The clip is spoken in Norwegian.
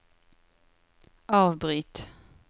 avbryt